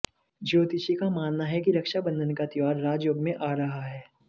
ज्योतिषी का मानना है कि रक्षा बंधन का त्यौहार राजयोग में आ रहा है